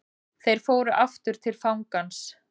Þeir fóru aftur til fangans.